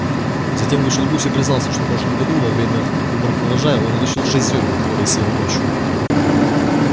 затем вышел гусь и признался что в прошлом году во время уборки урожая он утащил шесть зёрен которые съел ночью